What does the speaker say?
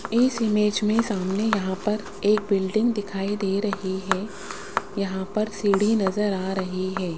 इस इमेज में सामने यहां पर एक बिल्डिंग दिखाई दे रही है यहां पर सीढ़ी नजर आ रही है।